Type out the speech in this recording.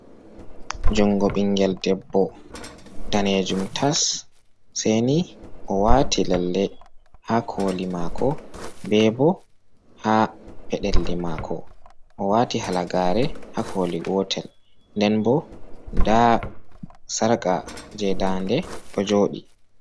Jungo bingel debbo, daneejum tas seeni o waati lalle haa koli maako, be bo haa peɗeli maako, o wati halagaare, haa koli gotel nden bo nda sarƙaje je daande ɗo jooɗii.